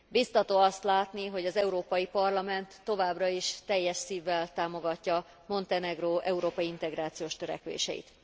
Bíztató azt látni, hogy az Európai Parlament továbbra is teljes szívvel támogatja Montenegró európai integrációs törekvéseit.